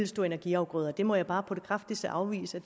stå energiafgrøder det må jeg bare på det kraftigste afvise